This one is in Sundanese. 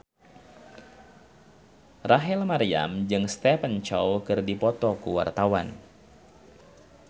Rachel Maryam jeung Stephen Chow keur dipoto ku wartawan